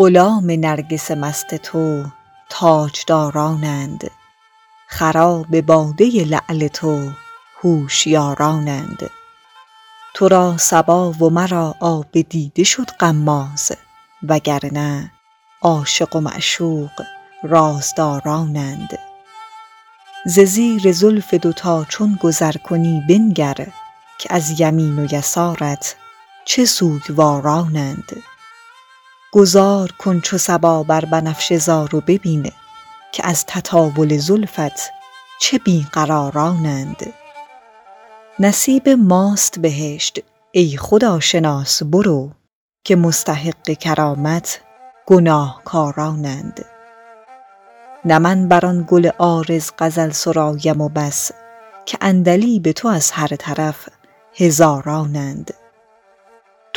غلام نرگس مست تو تاجدارانند خراب باده لعل تو هوشیارانند تو را صبا و مرا آب دیده شد غماز و گر نه عاشق و معشوق رازدارانند ز زیر زلف دوتا چون گذر کنی بنگر که از یمین و یسارت چه سوگوارانند گذار کن چو صبا بر بنفشه زار و ببین که از تطاول زلفت چه بی قرارانند نصیب ماست بهشت ای خداشناس برو که مستحق کرامت گناهکارانند نه من بر آن گل عارض غزل سرایم و بس که عندلیب تو از هر طرف هزارانند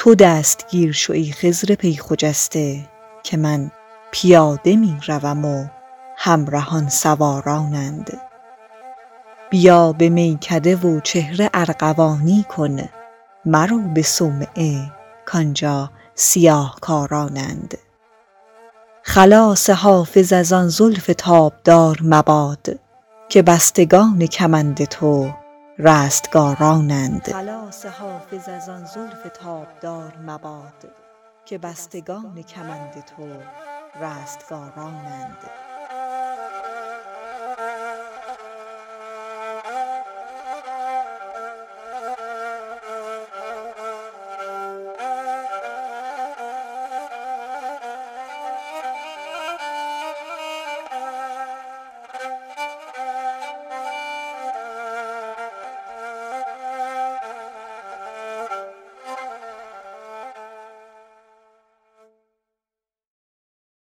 تو دستگیر شو ای خضر پی خجسته که من پیاده می روم و همرهان سوارانند بیا به میکده و چهره ارغوانی کن مرو به صومعه کآنجا سیاه کارانند خلاص حافظ از آن زلف تابدار مباد که بستگان کمند تو رستگارانند